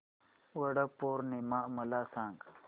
वट पौर्णिमा मला सांग